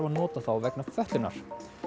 að nota þá vegna fötlunar